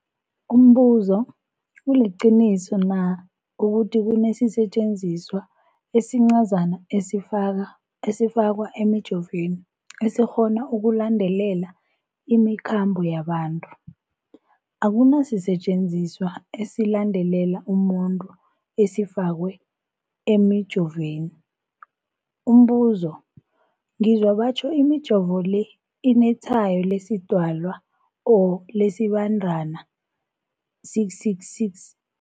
Umbuzo, kuliqiniso na ukuthi kunesisetjenziswa esincazana esifakwa emijovweni, esikghona ukulandelela imikhambo yabantu? Akuna sisetjenziswa esilandelela umuntu esifakwe emijoveni. Umbuzo, ngizwa batjho imijovo le inetshayo lesiDalwa or lesiBandana 666.